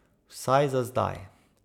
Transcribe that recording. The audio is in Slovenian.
Vsaj za zdaj.